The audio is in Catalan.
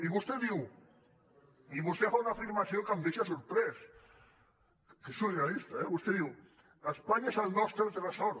i vostè diu vostè fa una afirmació que em deia sorprès que és surrealista eh vostè diu espanya és el nostre tresor